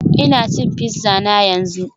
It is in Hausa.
Ina cin pizza na yanzu